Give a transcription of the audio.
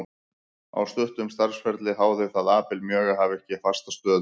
Á stuttum starfsferli háði það Abel mjög að hafa ekki fasta stöðu.